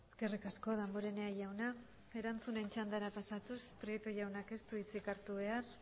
eskerrik asko damborenea jauna erantzunen txandara pasatuz prieto jaunak ez du hitzik hartu behar